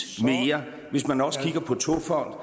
mere hvis man også kigger på togfonden